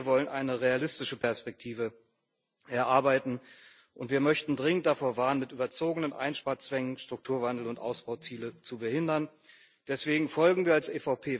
Wir wollen eine realistische Perspektive erarbeiten, und wir möchten dringend davor warnen, mit überzogenen Einsparzwängen Strukturwandel und Ausbauziele zu behindern. Deswegen folgen wir als EVP weitestgehend den Vorschlägen der Kommission.